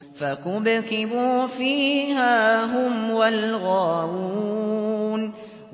فَكُبْكِبُوا فِيهَا هُمْ وَالْغَاوُونَ